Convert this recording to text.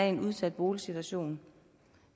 en udsat boligsituation